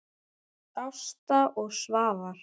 Ásta og Svafar.